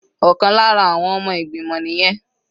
Ọ̀kan lára àwọn ọmọ ìgbìmọ̀ nìyẹn.